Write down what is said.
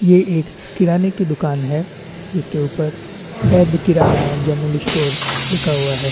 ये एक किराने की दुकान है उसके ऊपर बैध किराना एंड जनरल स्टोर लिखा हुए है।